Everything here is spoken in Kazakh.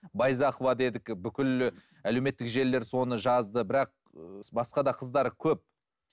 байзақова дедік бүкіл әлеуметтік желілер соны жазды бірақ і басқа да қыздар көп